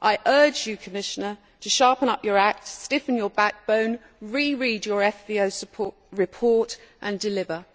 I urge you, Commissioner, to sharpen up your act, stiffen your backbone, reread your FVO report and deliver.